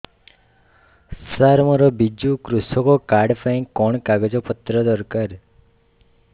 ସାର ମୋର ବିଜୁ କୃଷକ କାର୍ଡ ପାଇଁ କଣ କାଗଜ ପତ୍ର ଦରକାର